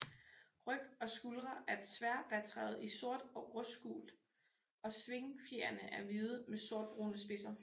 Ryg og skuldre er tværvatrede i sort og rustgult og svingfjerene er hvide med sortbrune spidser